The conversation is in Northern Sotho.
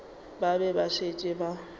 ba be ba šetše ba